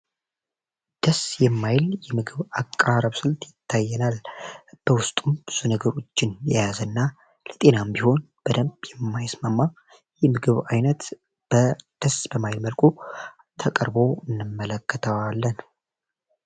ደስ የማይል የምግብ አቀራረብ ስልት ይታየናል። በውስጡም ብዙ ነገሮችን የያዝ እና ለጤናም ቢሆን በደንብ የማይስማማ ምግብ ዓይነት ደስ በማይል መልኩ ተቀርቦ እንመለከተዋለን።